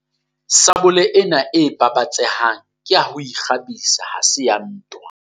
Sabole ena e babatsehang ke ya ho kgabisa ha se ya ntwa.